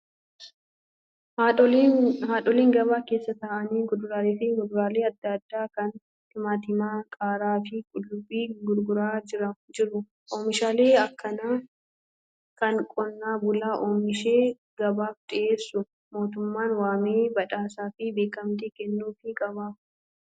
Haadholiin gabaa keessa ta'aanii kuduraalee fi muduraalee adda addaa kan timaantimaa, qaaraa fi qullubii gurguraa jiru. Oomishaalee akkanaa kana qonnaa bulaa oomishee gabaaf dhiyeessu mootummaan waamee badhaasaa fi beekamtii kennuufii qaba.